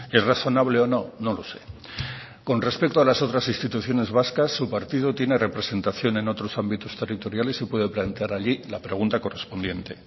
es razonable o no no lo sé con respecto a las otras instituciones vascas su partido tiene representación en otros ámbitos territoriales y puede plantear allí la pregunta correspondiente